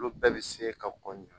Olu bɛɛ bɛ se ka ko ɲuman